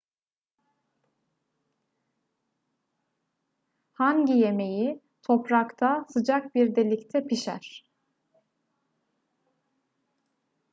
hangi yemeği toprakta sıcak bir delikte pişer